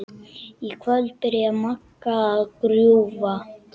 Í kvöld byrjaði Magga að grúfa.